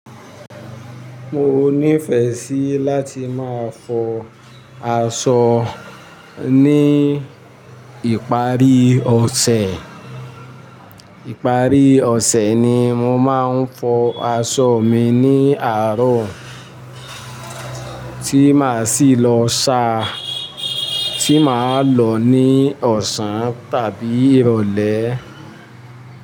Mo nífẹ̀ẹ́ sí láti máa fọ aṣọ ní ìparí ọ̀sẹ̀. Ìparí ọ̀sẹ̀ ni mo máa ń fọ aṣọ mi ní àárọ̀, tí mà sì lọ ṣa, tí mà lọ ní ọ̀sán tàbí ìrọ̀lẹ́.